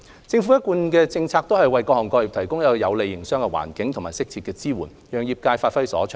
政府的一貫政策是為各行各業提供有利的營商環境，以及適切的支援，讓業界發揮所長。